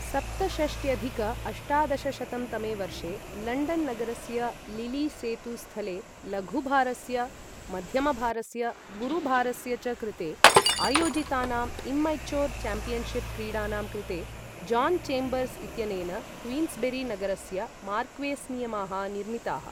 सप्तषष्ट्यधिक अष्टादशशतं तमे वर्षे लण्डन् नगरस्य लिली सेतु स्थले लघुभारस्य, मध्यमभारस्य, गुरुभारस्य च कृते आयोजितानाम् इम्मैचोर् चैम्पियन्शिप् क्रीडानां कृते जान् चेम्बर्स् इत्यनेन क्वीन्स्बेरी नगरस्य मार्क्वेस् नियमाः निर्मिताः।